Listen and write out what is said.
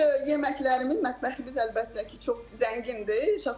Bir yeməklərimiz, mətbəximiz əlbəttə ki, çox zəngindir.